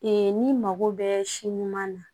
n'i mago bɛ si ɲuman na